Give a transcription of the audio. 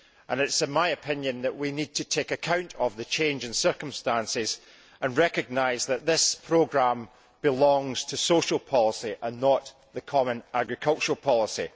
It is my opinion that we need to take account of the change in circumstances and recognise that this programme belongs to social policy and not the common agricultural policy.